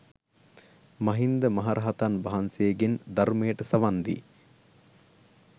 මහින්ද මහ රහතන් වහන්සේගෙන් ධර්මයට සවන් දී